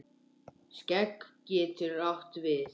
Skegg getur átt við